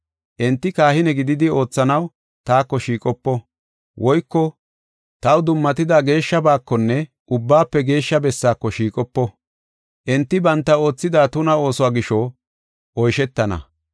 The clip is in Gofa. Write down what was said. Enti kahine gididi oothanaw taako shiiqopo; woyko taw dummatida geeshshabakonne Ubbaafe Geeshsha Bessaako shiiqopo. Enti banta oothida tuna oosuwa gisho, oyshetana.